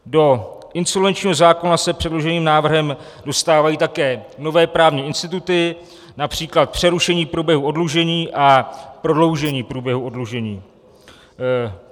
Do insolvenčního zákona se předloženým návrhem dostávají také nové právní instituty, například přerušení průběhu oddlužení a prodloužení průběhu oddlužení.